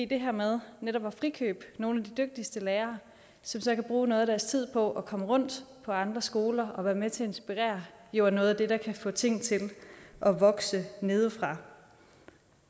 det her med netop at frikøbe nogle af de dygtigste lærere som så kan bruge noget af deres tid på at komme rundt på andre skoler og være med til at inspirere er jo noget af det der kan få ting til at vokse nedefra